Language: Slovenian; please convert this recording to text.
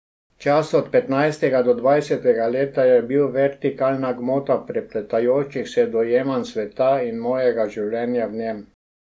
Čas od petnajstega do dvajsetega leta je bil vertikalna gmota prepletajočih se dojemanj sveta in mojega življenja v njem.